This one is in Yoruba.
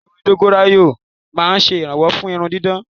Òróró ewé dọ́góráyó ma ń ṣèrànwọ́ fún irun gígùn.